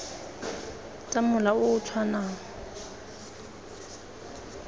tsa mola o o tshwanang